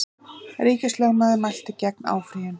Ríkislögmaður mælti gegn áfrýjun